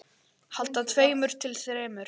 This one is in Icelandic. Handa tveimur til þremur